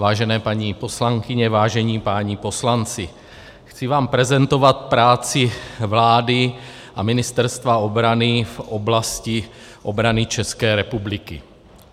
Vážené paní poslankyně, vážení páni poslanci, chci vám prezentovat práci vlády a Ministerstva obrany v oblasti obrany České republiky.